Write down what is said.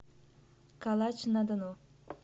калач на дону